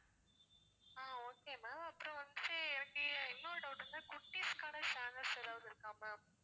ஆஹ் okay ma'am அப்புறம் வந்து எனக்கு இன்னொரு doubt வந்து குட்டீஸ்க்கான channels ஏதாவது இருக்கா ma'am